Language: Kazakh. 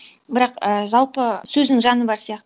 бірақ і жалпы сөзінің жаңы бар сияқты